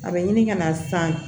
A bɛ ɲini ka na san